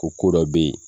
Ko ko dɔ bɛ yen